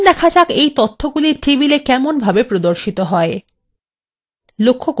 এখন data যাক এই তথ্যগুলি tableএ কেমনভাবে প্রদর্শিত হয়